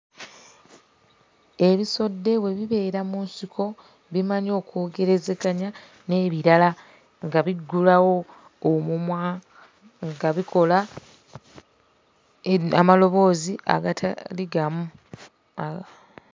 Ebisodde bwe bibeera mu nsiko bimanyi okwogerezeganya n'ebirala nga biggulawo omumwa nga bikola amaloboozi agatali gamu.